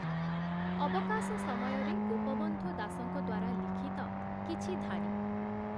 ଅବକାଶ ସମୟରେ ଗୋପବନ୍ଧୁ ଦାସଙ୍କ ଦ୍ୱାରା ଲିଖିତ କିଛି ଧାଡ଼ି ।